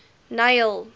neil